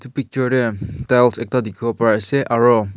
picture tae tiles ekta dikhiwo parease aro.